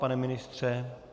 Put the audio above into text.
Pane ministře?